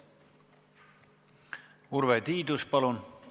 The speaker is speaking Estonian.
Urve Tiidus, palun!